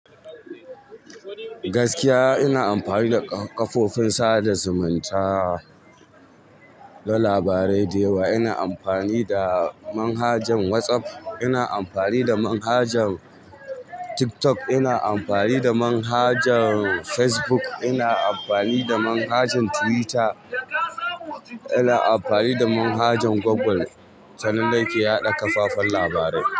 Gaskiya ina amfani da kafofin sada zumunta don labarai da yawa. Ina amfani da manhajan WhatsApp, ina amfani da manhajan TikTok, ina amfani da manhajan Facebook, ina amfani da manhajan Twitter, ina amfani da manhajan Google ta nan nake yaɗa kafafen labarai.